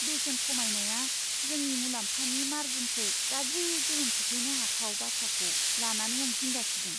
बेसेन खमायनाया जोंनि मुलाम्फानि मार्जिनखौ गाज्रि गोहोम खोख्लैनो हाथाव बाथ्राखौ लानानै आं जिंगा सिदों।